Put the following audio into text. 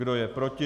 Kdo je proti?